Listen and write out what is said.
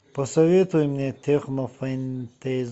посоветуй мне технофэнтези